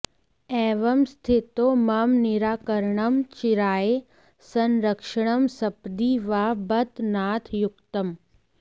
एवं स्थितो मम निराकरणं चिराय संरक्षणं सपदि वा बत नाथ युक्तम्